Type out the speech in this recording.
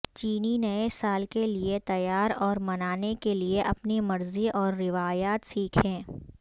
چینی نئے سال کے لئے تیار اور منانے کے لئے اپنی مرضی اور روایات سیکھیں